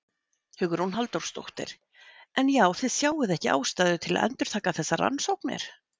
Hugrún Halldórsdóttir: En já þið sjáið ekki ástæðu til að endurtaka þessar rannsóknir?